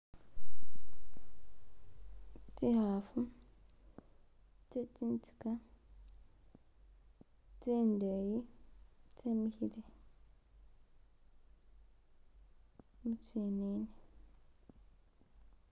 Tsikafu tse tsiziga tsindeyi tsimikile mu tsinini